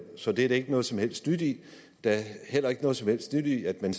så det er der ikke noget som helst nyt i der er heller ikke noget som helst nyt i at man